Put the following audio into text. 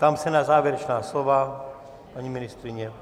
Ptám se na závěrečná slova - paní ministryně?